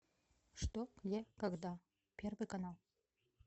что где когда первый канал